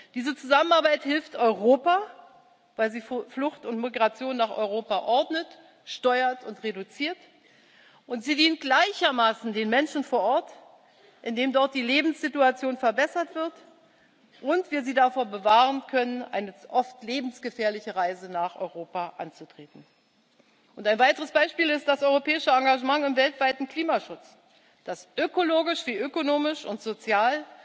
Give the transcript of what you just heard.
Diese Zusammenarbeit hilft Europa, weil sie Flucht und Migration nach Europa ordnet, steuert und reduziert, und sie dient gleichermaßen den Menschen vor Ort, indem dort die Lebenssituation verbessert wird und wir sie davor bewahren können, eine oft lebensgefährliche Reise nach Europa anzutreten. Ein weiteres Beispiel ist das europäische Engagement im weltweiten Klimaschutz, das ökologisch wie ökonomisch und sozial